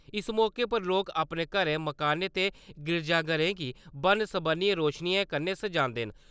इस मौके पर लोक अपने घरै मकानें ते गिरजाघरें गी बन्न–सबन्नियें रोशनियें कन्नै सजांदे न।